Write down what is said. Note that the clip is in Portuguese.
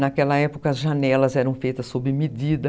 Naquela época, as janelas eram feitas sob medida.